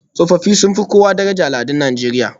Tsofaffi sun fi kowa daraja a al'adun Najeriya